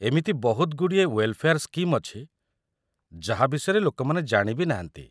ଏମିତି ବହୁତଗୁଡ଼ିଏ welfare scheme ଅଛି ଯାହା ବିଷୟରେ ଲୋକମାନେ ଜାଣି ବି ନାହାନ୍ତି ।